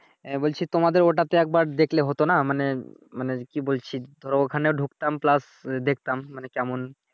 এহ তোমাদের ওইটাতে একবার দেখলে হতো নাহ মানে মানে মানে কি বলছি ধরো ওইখানেও ঢুকতাম প্লাস দেখতাম মানে কেমন